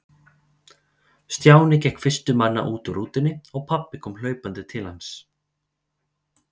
Stjáni gekk fyrstur manna út úr rútunni og pabbi kom hlaupandi til hans.